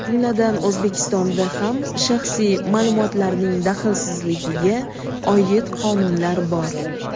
jumladan O‘zbekistonda ham shaxsiy ma’lumotlarning daxlsizligiga oid qonunlar bor.